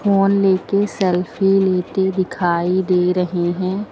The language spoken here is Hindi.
फोन लेके सेल्फी लेते दिखाई दे रहे हैं।